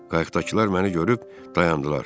Qayıqdakılar məni görüb dayandılar.